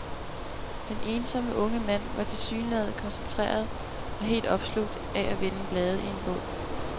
Den ensomme unge mand var tilsyneladende koncentreret og helt opslugt af at vende blade i en bog.